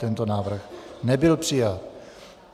Tento návrh nebyl přijat.